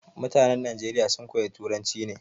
Mutanan Nageriya sun koya turanci ne